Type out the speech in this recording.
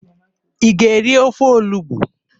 Ị ga-eri ofe olugbu?